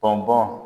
Bɔn bɔn